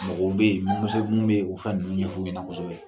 Mɔgɔw bɛ , o ka ninnu ɲɛfɔ kosɛbɛ.